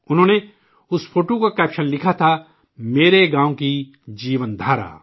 انہوں نے اس فوٹو کی سرخی لگائی تھی'میرے گاؤں کی جیون دھارا'